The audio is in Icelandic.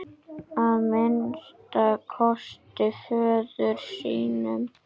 Að minnsta kosti föður sínum.